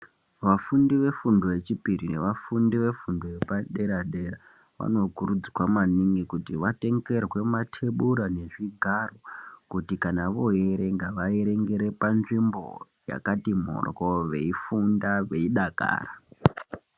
Vafundi vefundo yechipiri nevafundi vefundo yepadera dera vanokurudzirwa maningi kuti vatengerwe matebhura nezvigaro kuti kana voerenga voerengera panzvimbo yakati mhoryo veifunda veidakara.